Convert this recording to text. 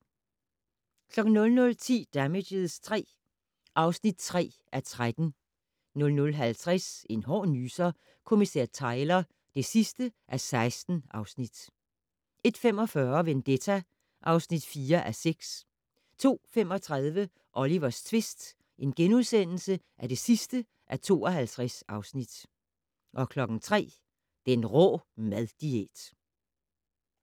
00:10: Damages III (3:13) 00:50: En hård nyser: Kommissær Tyler (16:16) 01:45: Vendetta (4:6) 02:35: Olivers tvist (52:52)* 03:00: Den rå mad-diæt